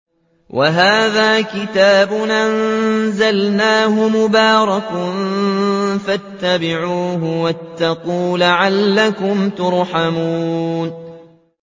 وَهَٰذَا كِتَابٌ أَنزَلْنَاهُ مُبَارَكٌ فَاتَّبِعُوهُ وَاتَّقُوا لَعَلَّكُمْ تُرْحَمُونَ